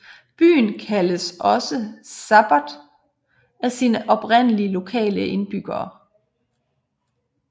Byen kaldes også Sabbot af sine oprindelige lokale indbyggere